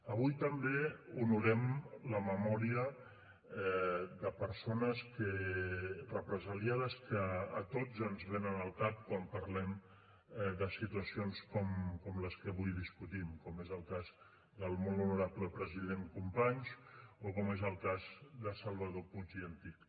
avui també honorem la memòria de persones represaliades que a tots ens venen al cap quan parlem de situacions com les que avui discutim com és el cas del molt honorable president companys o com és el cas de salvador puig i antich